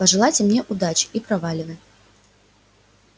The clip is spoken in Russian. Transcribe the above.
пожелайте мне удачи и проваливай